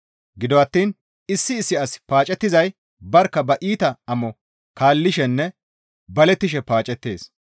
Gido attiin issi issi asi paacettizay barkka ba iita amo kaallishenne balettishe paacettees.